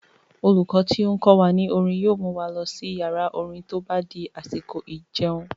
Olùkọ́ tó n kọ wa ní orin yóò mu wa lọ sí yàrá-orin tó bá di àsìkò ìjẹun